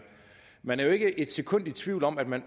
man er jo ikke et sekund i tvivl om at man